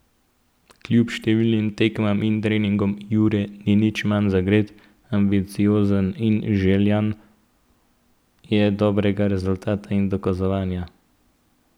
Kljub številnim tekmam in treningom Jure ni nič manj zagret, ambiciozen in željan je dobrega rezultata in dokazovanja.